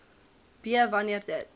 b wanneer dit